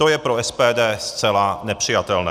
To je pro SPD zcela nepřijatelné.